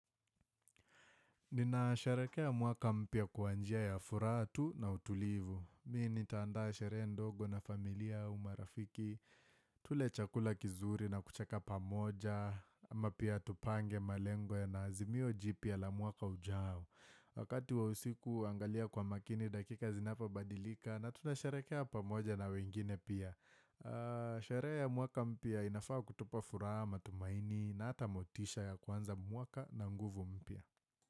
Ninasherekea mwaka mpya kwa njia kwa furaha tu na utulivu. Mimi nitaanda sherehe ndogo na familia au marafiki. Tule chakula kizuri na kucheka pamoja. Ama pia tupange malengo ya na azimio jipya la mwaka ujao. Wakati wa usiku huangalia kwa makini dakika zinapabadilika na tunasharekea pamoja na wengine pia. Sherehe ya mwaka mpyaa inafaa kutupa furaha matumaini na ata motisha ya kuanza mwaka na nguvu mpya.